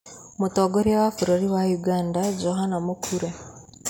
Mũtongoria wa bũrũri wa ũganda, Johana Mũkure.